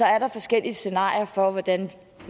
er der forskellige scenarier for hvordan